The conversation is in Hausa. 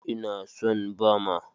Ina son Bama.